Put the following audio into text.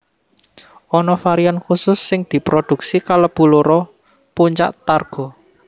Ana varian khusus sing diprodhuksi kalebu loro puncak Targa